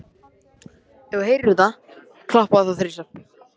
Á einföldu máli væri þessi rafmagnsframleiðsla unnin fyrir gýg!